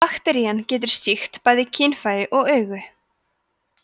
bakterían getur sýkt bæði kynfæri og augu